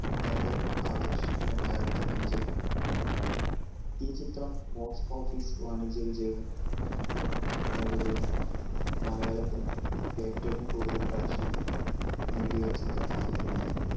രണ്ടായിരത്തിഅഞ്ചിൽ ഈ ചിത്രം box office വാണിജ്യ വിജയവും നേടുകയും മലയാളത്തിൽ ഏറ്റവും കൂടുതൽ collection നേടിയ ചിത്രമായിരുന്നു